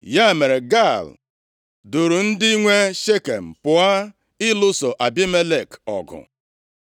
Ya mere, Gaal duuru ndị nwe Shekem pụọ ịlụso Abimelek ọgụ.